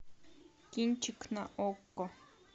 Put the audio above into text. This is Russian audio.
кинчик на окко